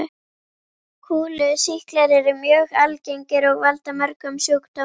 Kúlusýklar eru mjög algengir og valda mörgum sjúkdómum.